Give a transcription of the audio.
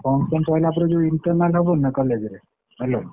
Function ସରିଲା ପରେ ଯୋଉ internal ହବନି ନା college ରେ hello ।